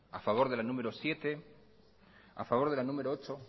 a favor de la número siete a favor de la número ocho